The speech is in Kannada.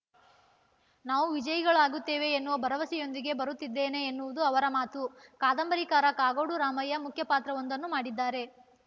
ನಾವು ವಿಜಯಿಗಳಾಗುತ್ತೇವೆ ಎನ್ನುವ ಭರವಸೆಯೊಂದಿಗೆ ಬರುತ್ತಿದ್ದೇವೆ ಎನ್ನುವುದು ಅವರ ಮಾತು ಕಾದಂಬರಿಕಾರ ಕಾಗೋಡು ರಾಮಯ್ಯ ಮುಖ್ಯ ಪಾತ್ರವೊಂದನ್ನು ಮಾಡಿದ್ದಾರೆ